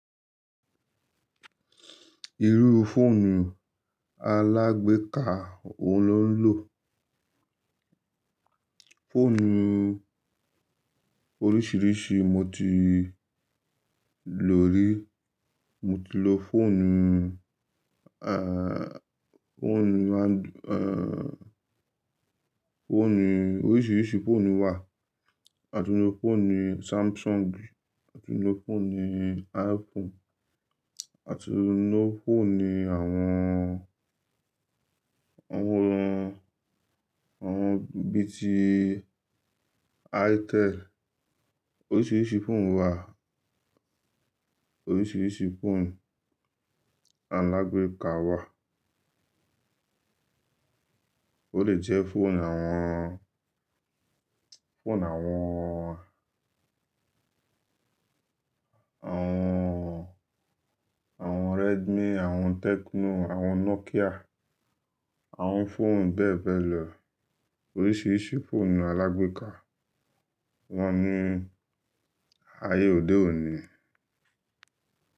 Irú fóònù alágbèéká wo lo ń lò? Fóònù oríṣìíríṣìí mo ti lò rí. Mo ti lo fóònù, eh, fóònù áńdù, eh, fóònù oríṣìíríṣìí fóònù wà. Àti inú fóònù Samsungi, àti inú fóònù iPhonu, àti inú fóònù àwọn, àwọn, àwọn bí i ti Iteli. Oríṣìíríṣìí fóònù wà. Oríṣìíríṣìí fóònù alágbèéká wà. Ó lè jẹ́ fóònù àwọn, fóònù àwọn, àwọn, àwọn Redmi, àwọn Tecno, àwọn Nokia, àwọn fóònù bẹ́ẹ̀ bẹ́ẹ̀ lọ. Oríṣìíríṣìí fóònù alágbèéká wọ́n ní ayé òde òní.